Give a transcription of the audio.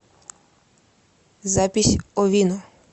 запись овино